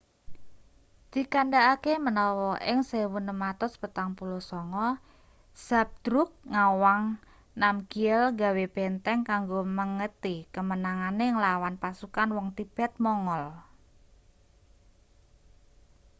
dikandhakake menawa ing 1649 zhabdrug ngawang namgyel gawe benteng kanggo mengeti kemenangane nglawan pasukan wong tibet-mongol